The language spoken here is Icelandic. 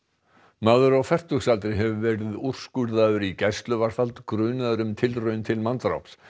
maður á fertugsaldri hefur verið úrskurðaður í gæsluvarðhald grunaður um tilraun til manndráps